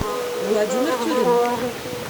владимир тюрин